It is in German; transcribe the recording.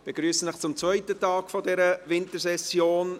Ich begrüsse Sie zum zweiten Tag dieser Wintersession.